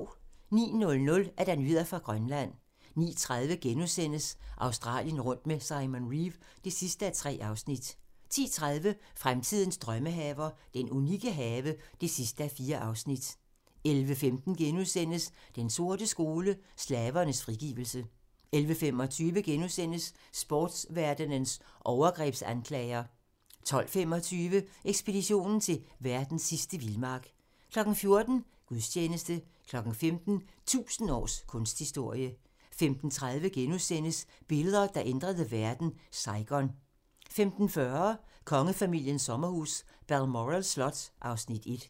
09:00: Nyheder fra Grønland 09:30: Australien rundt med Simon Reeve (3:3)* 10:30: Fremtidens drømmehaver - den unikke have (4:4) 11:15: Den sorte skole: Slavernes frigivelse * 11:25: Sportverdenens overgrebsanklager * 12:25: Ekspeditionen til verdens sidste vildmark 14:00: Gudstjeneste 15:00: 1000 års kunsthistorie 15:30: Billeder, der ændrede verden: Saigon * 15:40: Kongefamiliens sommerhus - Balmoral Slot (Afs. 1)